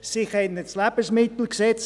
Sie kennen das LMG nicht;